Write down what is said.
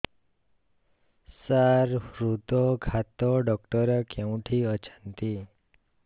ସାର ହୃଦଘାତ ଡକ୍ଟର କେଉଁଠି ଅଛନ୍ତି